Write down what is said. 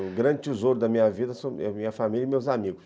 O grande tesouro da minha vida são minha minha família e meus amigos.